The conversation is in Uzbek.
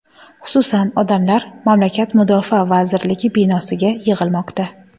Xususan, odamlar mamlakat Mudofaa vazirligi binosiga yig‘ilmoqda.